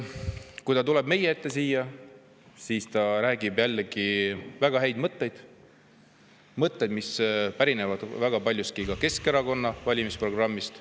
Kui ta tuleb meie ette siia, siis ta räägib jällegi väga headest mõtetest, mis pärinevad väga paljuski Keskerakonna valimisprogrammist.